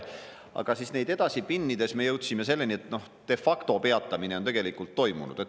Aga neid edasi pinnides me jõudsime selleni, et de facto peatamine on tegelikult toimunud.